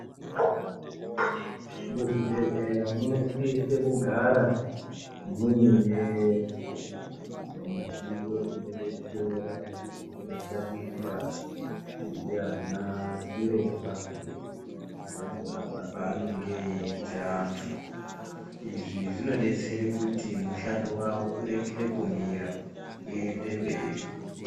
Muzvibhedhlera munosise kugara muyine midziyo inodetsera, inoshandiswa ndiana chiremba pakurapa paanonge eyiita antu, izvi zvinodetsere kuti mushando wavo uregere kumira, uyende mberi.